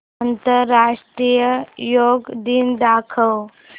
आंतरराष्ट्रीय योग दिन दाखव